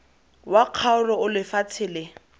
wa kgaolo o lefatshe le